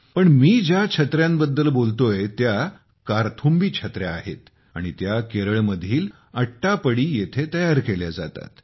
पण मी ज्या छत्र्यांबद्दल बोलतोय त्या 'कार्थुम्बी छत्र्या' आहेत आणि त्या केरळमधील अट्टापडी येथे तयार केल्या जातात